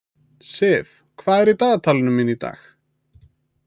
Siv, hvað er í dagatalinu mínu í dag?